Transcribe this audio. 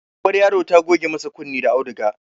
Uwar yaro ta goge masa kunne da auduga